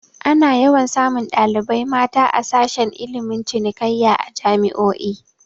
Ana yawan samun ɗalibai mata a sashe ilmin cinikayya a jami'o'i